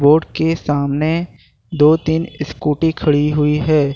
Board के सामने दो तीन स्कूटी खड़ी हुई है।